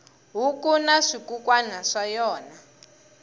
huku na swikukwana swa yona